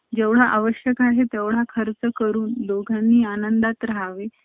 जेवढा आवश्यक आहे तेवढा खर्च करून दोघांनी आनंदात राहावे.